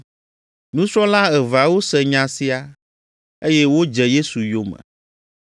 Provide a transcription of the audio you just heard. Nusrɔ̃la eveawo se nya sia, eye wodze Yesu yome.